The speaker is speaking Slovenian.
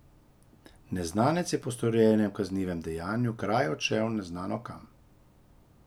Neznanec je po storjenem kaznivem dejanju kraj odšel neznano kam.